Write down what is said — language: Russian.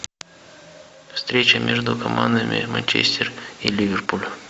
встреча между командами манчестер и ливерпуль